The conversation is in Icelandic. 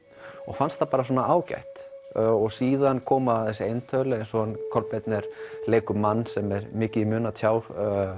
fannst það svona ágætt síðan koma þessi eintöl eins og hann Kolbeinn leikur mann sem að er mikið í mun að tjá